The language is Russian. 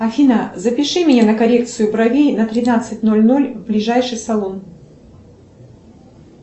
афина запиши меня на коррекцию бровей на тринадцать ноль ноль в ближайший салон